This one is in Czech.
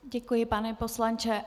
Děkuji, pane poslanče.